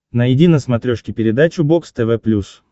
найди на смотрешке передачу бокс тв плюс